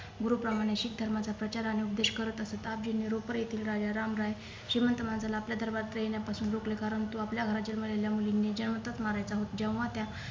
गुरु प्रमाणे शीख धर्माचा प्रचार आणि उपदेश करत असत आपजींनी रुपर येथील राजा राम राय श्रीमंत माणसाला आपल्या दरबारात येण्या पासून रोकल कारण तू आपल्या घरात जन्मलेल्या मुलींनी जिवंतच मारायचा होता जेव्हा त्या